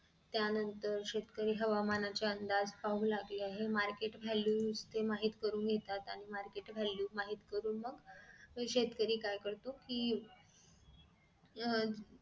त्यानंतर शेतकरी हवामान चे अंदाज पाहू लागले आहेत market value ते माहित करून घेतात आणि market value माहित करून मग शेतकरी काय करतो कि अह